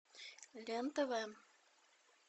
лен тв